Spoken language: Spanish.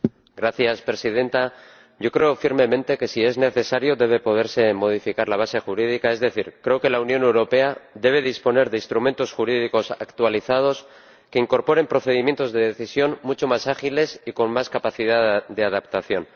Señora Presidenta, yo creo firmemente que, si es necesario, debe poderse modificar la base jurídica, es decir, creo que la Unión Europea debe disponer de instrumentos jurídicos actualizados que incorporen procedimientos de decisión mucho más ágiles y con más capacidad de adaptación.